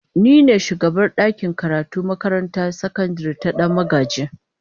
Ni ne shugabar dakin karatu a makarantar sakandare ta Dan magaji.